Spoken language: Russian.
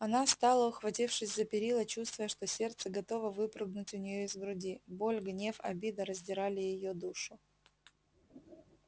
она стала ухватившись за перила чувствуя что сердце готово выпрыгнуть у неё из груди боль гнев обида раздирали её душу